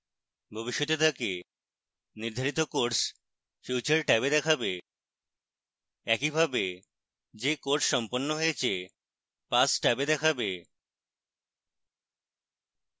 ভবিষ্যতে তাকে নির্ধারিত courses future ট্যাবে দেখাবে একইভাবে যে courses সম্পন্ন হয়েছে past ট্যাবে দেখাবে